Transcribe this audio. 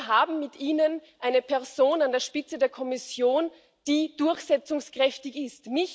Wir haben mit Ihnen eine Person an der Spitze der Kommission, die durchsetzungskräftig ist.